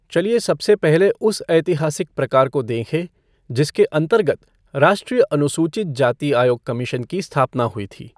चलिये सबसे पहले उस ऐतिहासिक प्रकार को देखें जिसके अन्तर्गत राष्ट्रीय अनुसूचित जाति आयोग कमीशन की स्थापना हुई थी।